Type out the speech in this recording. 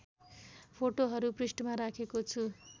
फोटोहरू पृष्ठमा राखेको छु